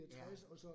Ja